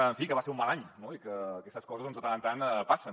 en fi que va ser un mal any no i que aquestes coses doncs de tant en tant passen